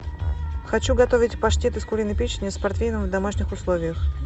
хочу готовить паштет из куриной печени с портвейном в домашних условиях